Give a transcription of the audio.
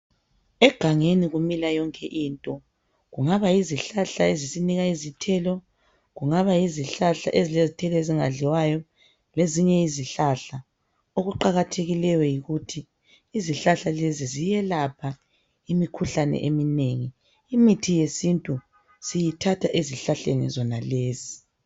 Egangeni ukumila yonke into kungaba yizihlahla ezisinika izithelo kungaba yizihlahla ezilezithelo ezingadliwayo lezinye izihlahla okuqakathekileyo yikuthi izihlahla lezi ziyelapha imikhuhlane eminengi imithi yesintu siyithatha ezihlahlezi zonalezi.